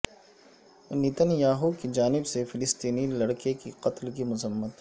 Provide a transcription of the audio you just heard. Nitin Yahoo کی جانب سے فلسطینی لڑکے کے قتل کی مذمت